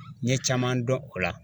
N ye caman dɔn o la